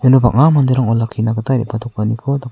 iano bang·a manderang olakkina gita re·batokaniko daka.